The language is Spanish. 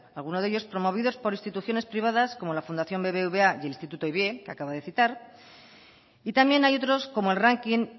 algunos de ellos promovidos por instituciones privadas como la fundación bbva y el instituto que acabo de citar y también hay otros como el ranking